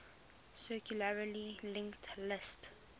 circularly linked list